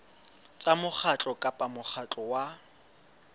tsa mokgatlo kapa mokgatlo wa